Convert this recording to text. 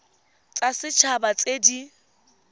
tsa set haba tse di